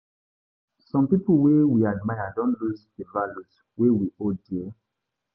Some pipo wey we admire don lose di values wey we hold dear.